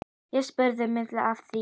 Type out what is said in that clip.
Ég spurði miðil að því.